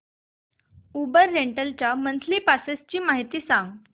Uber rental च्या monthly passes ची माहिती सांग